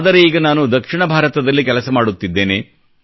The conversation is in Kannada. ಆದರೆ ಈಗ ನಾನು ದಕ್ಷಿಣ ಭಾರತದಲ್ಲಿ ಕೆಲಸ ಮಾಡುತ್ತಿದ್ದೇನೆ